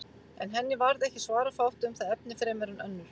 En henni varð ekki svara fátt um það efni fremur en önnur.